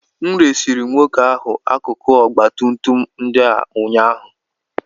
M resịrị nwoke ahụ akụkụ ọgba tum tum ndị a ụnyaahụ